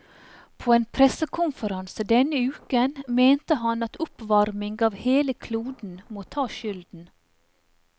På en pressekonferanse denne uken mente han at oppvarming av hele kloden må ta skylden.